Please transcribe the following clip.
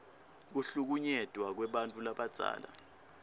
kuhlukunyetwa kwebantfu labadzala